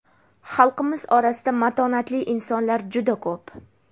Xalqimiz orasida matonatli insonlar juda ko‘p.